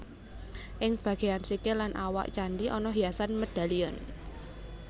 Ing bagéyan sikil lan awak candhi ana hiasan medalion